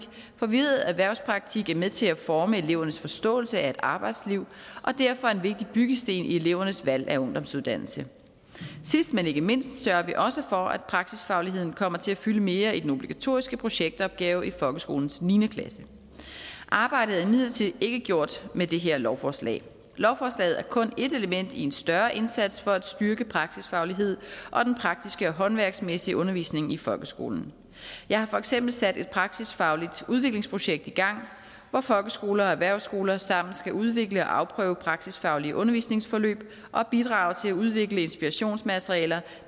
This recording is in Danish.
for vi ved at erhvervspraktik er med til at forme elevernes forståelse af et arbejdsliv og derfor er en vigtig byggesten i elevernes valg af ungdomsuddannelse sidst men ikke mindst sørger vi også for at praksisfagligheden kommer til at fylde mere i den obligatoriske projektopgave i folkeskolens niende klasse arbejdet er imidlertid ikke gjort med det her lovforslag lovforslaget er kun et element i en større indsats for at styrke praksisfagligheden og den praktiske og håndværksmæssige undervisning i folkeskolen jeg har for eksempel sat et praksisfagligt udviklingsprojekt i gang hvor folkeskoler og erhvervsskoler sammen skal udvikle og afprøve praksisfaglige undervisningsforløb og bidrage til at udvikle inspirationsmateriale